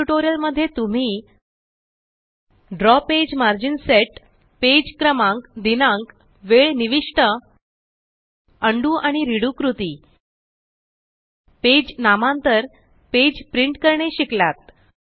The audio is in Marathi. या टयूटोरियल मध्ये तुम्ही द्रव पेज मर्जीन सेट पेज क्रमांक दिनांक वेळ निविष्ट उंडो आणि रेडो कृती पेज नामांतर पेज प्रिंट करणे शिकलात